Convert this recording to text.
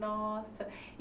Nossa.